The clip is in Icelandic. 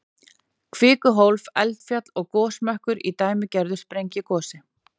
Kvikuhólf, eldfjall og gosmökkur í dæmigerðu sprengigosi.